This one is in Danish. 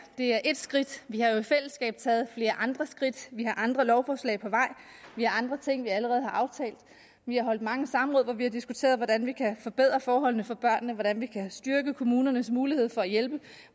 det er ét skridt vi har jo i fællesskab taget flere andre skridt vi har andre lovforslag på vej vi har andre ting vi allerede har aftalt vi har holdt mange samråd hvor vi har diskuteret hvordan vi kan forbedre forholdene for børnene hvordan vi kan styrke kommunernes mulighed for at hjælpe